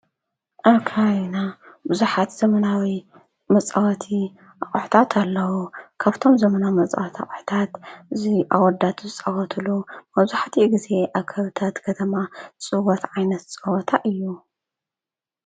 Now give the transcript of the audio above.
ኣብ ከባቢና ብዙሓት ዘመናዊ መፃወቲ ኣቝሑታት ኣለዉ፡፡ ከፍቶም ዘመናዊ መፃወቲ ኣቝሑታት እዙይ ኣወዳት ዝጸወትሉ መብዛሕቲኡ ጊዜ ኣብ ከብታት ከተማ ዝጽወት ዓይነት ጸወታ እዩ፡፡